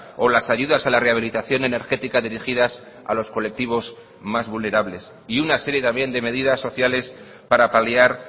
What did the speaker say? o las ayudas a la rehabilitación energética dirigidas a los colectivos más vulnerables y una serie también de medidas sociales para paliar